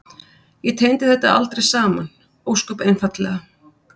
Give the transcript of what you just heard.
Ég tengdi þetta aldrei saman, ósköp einfaldlega.